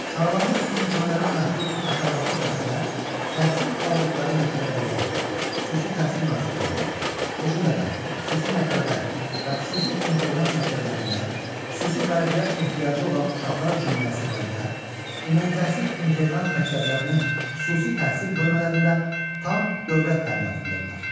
Sağlamlıq imkanları məhdud aşağıdakı şəxslər təhsil aldıqları məktəbəqədər, xüsusi təhsil müəssisələrində, o cümlədən xüsusi məktəblər və xüsusi internat məktəblərində, xüsusi qayğıya ehtiyacı olan uşaqlar üçün müəssisələrdə, ümumi təhsil internat məktəblərinin xüsusi təhsil bölmələrində tam dövlət təminatındadırlar.